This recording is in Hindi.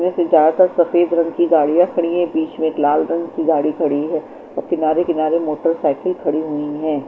वैसे ज्यादातर सफेद रंग की गाडिया खड़ी है बिच में एक लाल कलर की गाडिया खड़ी है और किनारे किनारे मोटर साइकिल खड़ी हुई है।